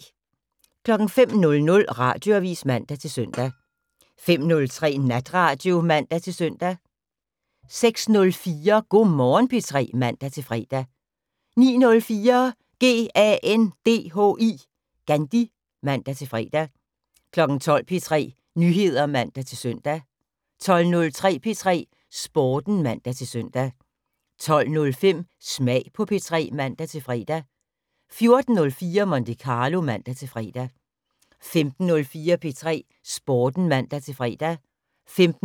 05:00: Radioavis (man-søn) 05:03: Natradio (man-søn) 06:04: Go' Morgen P3 (man-fre) 09:04: GANDHI (man-fre) 12:00: P3 Nyheder (man-søn) 12:03: P3 Sporten (man-søn) 12:05: Smag på P3 (man-fre) 14:04: Monte Carlo (man-fre) 15:04: P3 Sporten (man-fre) 15:06: